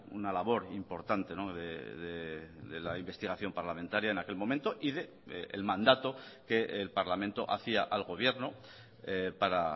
una labor importante de la investigación parlamentaria en aquel momento y del mandato que el parlamento hacía al gobierno para